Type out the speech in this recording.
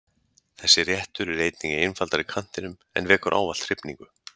Þessi réttur er einnig í einfaldari kantinum en vekur ávallt hrifningu.